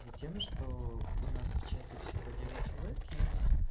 затем что у нас в чате всего девять человек и